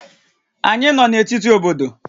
Anyị nọ na etiti obodo